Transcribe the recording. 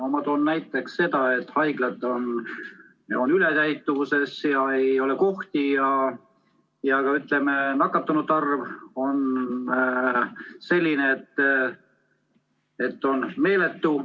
Ma toon näiteks selle, et haiglad on ületäituvuses, seal ei ole kohti, ja et ka nakatunute arv on meeletu.